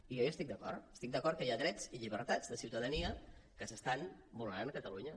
i jo hi estic d’acord estic d’acord que hi ha drets i llibertats de ciutadania que s’estan vulnerat a catalunya